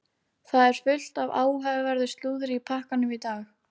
Það er fullt af áhugaverðu slúðri í pakkanum í dag.